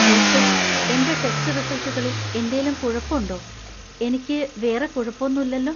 Doctor, എന്‍റെ test റിസൽറ്റുകളിൽ എന്തേലും കുഴപ്പുണ്ടോ ?എനിക്ക് വേറെ കുഴപ്പൊന്നുല്ലലോ ?